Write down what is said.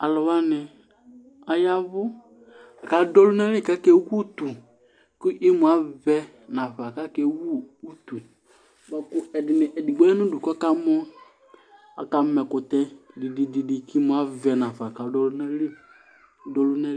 alũ wani ayavũ kadũ ɔlunali kake utũ ku imũavẽ nafa kake wu utũe ku ɛdini edigbo yanudũ kɔkamɔ aka ma ɛkũtɛ dididi k'imũa vɛ nafa kadu ɔlunali k'adũ ɔlunali